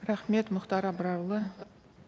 рахмет мұхтар абрарұлы